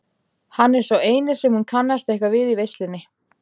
Hann er sá eini sem hún kannast eitthvað við í veislunni.